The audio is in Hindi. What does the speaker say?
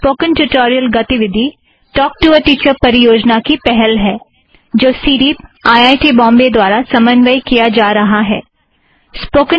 स्पोकन ट्युटोरियल गतिविधि टॉक टू अ टीचर परियोजना की पहल है जो CDEEP IIT Bombay CDEEP IIT Bombay द्वारा समन्वय किया जा रहा है